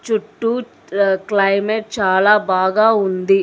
చుట్టూ ాఆ క్లైమేట్ చాలా బాగా ఉంది.